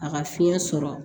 A ka fiɲɛ sɔrɔ